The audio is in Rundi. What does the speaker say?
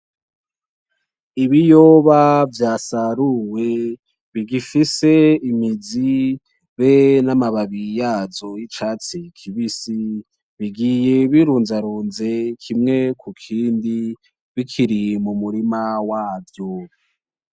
Ibiyoba vyasarumwe, bigifise imizi be n'amababi yazo y'icatsi kibisi, bigiye birunzarunze kimwe ku kindi bikiri mumurima wavyo.